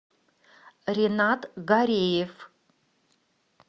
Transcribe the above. ренат гареев